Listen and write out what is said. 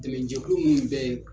Dɛmɛnjɛkulu min bɛ